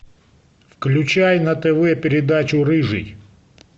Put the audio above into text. включай на тв передачу рыжий